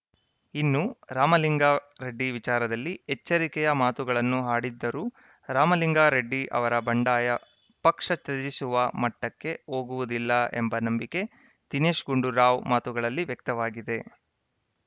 ಇನ್ನು ರಾಮಲಿಂಗಾರೆಡ್ಡಿ ವಿಚಾರದಲ್ಲಿ ಎಚ್ಚರಿಕೆಯ ಮಾತುಗಳನ್ನು ಆಡಿದ್ದರೂ ರಾಮಲಿಂಗಾರೆಡ್ಡಿ ಅವರ ಬಂಡಾಯ ಪಕ್ಷ ತ್ಯಜಿಸುವ ಮಟ್ಟಕ್ಕೆ ಹೋಗುವುದಿಲ್ಲ ಎಂಬ ನಂಬಿಕೆ ದಿನೇಶ್‌ ಗುಂಡೂರಾವ್‌ ಮಾತುಗಳಲ್ಲಿ ವ್ಯಕ್ತವಾಗಿದೆ